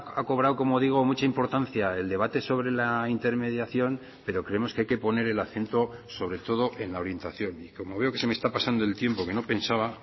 ha cobrado como digo mucha importancia el debate sobre la intermediación pero creemos que hay que poner el acento sobre todo en la orientación y como veo que se me está pasando el tiempo que no pensaba